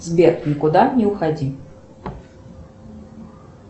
сбер никуда не уходи